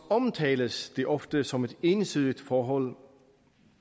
omtales det ofte som et ensidigt forhold